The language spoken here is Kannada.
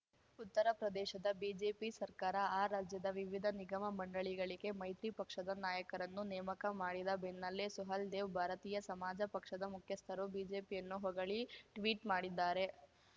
ಉತ್ತರ ಪ್ರದೇಶದ ಬಿಜೆಪಿ ಸರ್ಕಾರ ಆ ರಾಜ್ಯದ ವಿವಿಧ ನಿಗಮ ಮಂಡಳಿಗಳಿಗೆ ಮೈತ್ರಿ ಪಕ್ಷದ ನಾಯಕರನ್ನು ನೇಮಕ ಮಾಡಿದ ಬೆನ್ನಲ್ಲೇ ಸುಹೇಲ್‌ದೇವ್ ಭಾರತೀಯ ಸಮಾಜ ಪಕ್ಷದ ಮುಖ್ಯಸ್ಥರು ಬಿಜೆಪಿಯನ್ನು ಹೊಗಳಿ ಟ್ವೀಟ್ ಮಾಡಿದ್ದಾರೆ